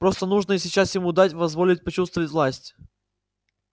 просто нужно сейчас ему дать позволить почувствовать власть